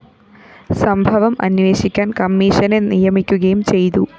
സംഭവം അന്വേഷിക്കാന്‍ കമ്മീഷനെ നിയമിക്കുകയും ചെയ്തു